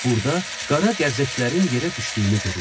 Burda qara qərzəklərin yerə düşdüyünü görürsən.